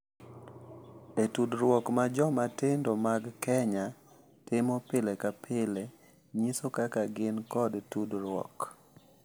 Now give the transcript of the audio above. E tudruok ma joma tindo mag Kenya timo pile ka pile, nyiso kaka gin, kod tudruok.